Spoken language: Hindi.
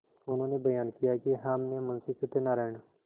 उन्होंने बयान किया कि हमने मुंशी सत्यनारायण